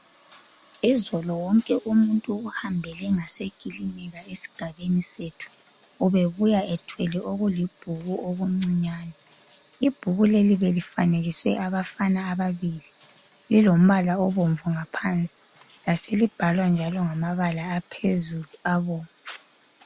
Izolo wonke umuntu ohambele ngasekilinika esigabeni sethu ubebuya ethwele okulibhuku okuncane. Ibhuku leli belifanekiswe abafana ababili lilombala obomvu ngaphansi laselibelibhalwa njalo ngamabala aphezulu abomvu.